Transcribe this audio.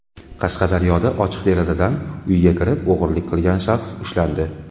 Qashqadaryoda ochiq derazadan uyga kirib o‘g‘rilik qilgan shaxs ushlandi.